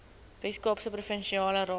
weskaapse provinsiale raad